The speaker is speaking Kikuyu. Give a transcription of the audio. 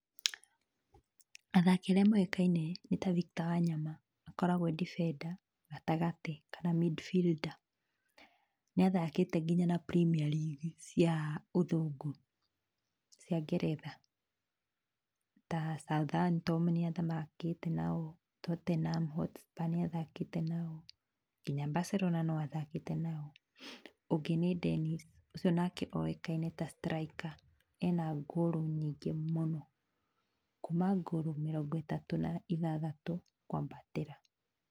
Athaki arĩa moĩkaine nĩ ta Victor Wanyama, akoragwo e defender gatagatĩ kana middle fielder. Nĩ athakĩte nginya na Premier League cia ũthũngũ cia ngeretha ta Southampton nĩ athakĩte nao, Tottenham Hotspur nĩ athakĩte nao, nginya Barcelona no athakĩte nao. Ũngĩ nĩ Dennis, ucio nake oĩkaine ta striker, ena goal nyingĩ mũno, kuma goal mĩrongo ĩtatũ na ithathatũ kwambatĩra.